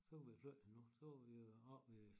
Så kunne vi jo flytte hende nu så var vi oppe ved